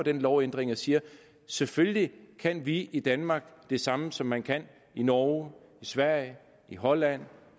en lovændring og siger at selvfølgelig kan vi i danmark det samme som man kan i norge i sverige i holland